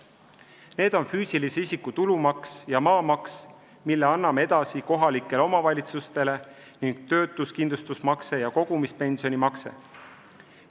Need on füüsilise isiku tulumaks ja maamaks, mille anname edasi kohalikele omavalitsustele, ning töötuskindlustusmakse ja kogumispensionimakse.